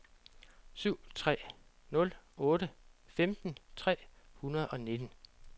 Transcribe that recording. syv tre nul otte femten tre hundrede og nitten